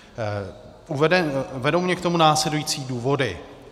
Vedou mě k tomu následující důvody.